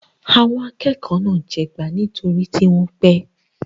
Àwọn akẹ́kọ̀ọ́ náà jìyà nítorí tí wọ́n pẹ́.